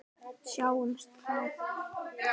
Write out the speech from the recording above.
Sjáumst þá.